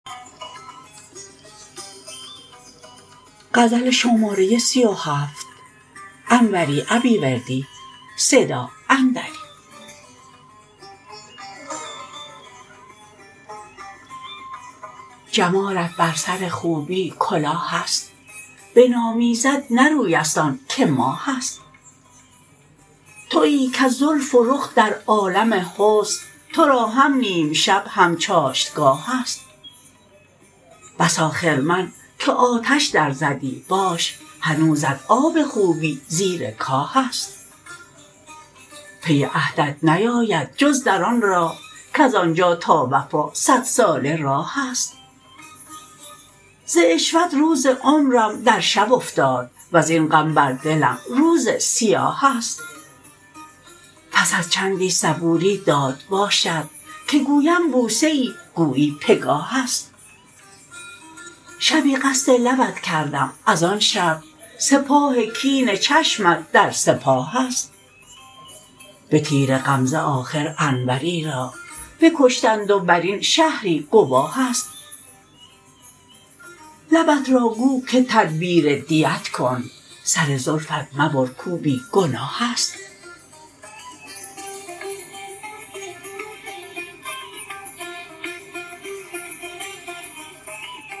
جمالت بر سر خوبی کلاهست بنامیزد نه رویست آن که ماهست تویی کز زلف و رخ در عالم حسن ترا هم نیم شب هم چاشتگاهست بسا خرمن که آتش در زدی باش هنوزت آب خوبی زیر کاهست پی عهدت نیاید جز در آن راه کز آنجا تا وفا صد ساله راهست ز عشوت روز عمرم در شب افتاد وزین غم بر دلم روز سیاهست پس از چندی صبوری داد باشد که گویم بوسه ای گویی پگاهست شبی قصد لبت کردم از آن شب سپاه کین چشمت در سپاهست به تیر غمزه مژگانت انوری را بکشتند و برین شهری گواهست لبت را گو که تدبیر دیت کن سر زلفت مبر کو بی گناهست